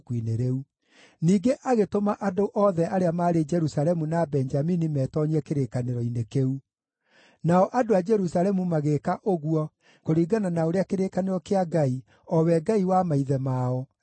Ningĩ agĩtũma andũ othe arĩa maarĩ Jerusalemu na Benjamini meetoonyie kĩrĩkanĩro-inĩ kĩu; nao andũ a Jerusalemu magĩĩka ũguo kũringana na ũrĩa kĩrĩkanĩro kĩa Ngai, o we Ngai wa maithe mao, gĩatariĩ.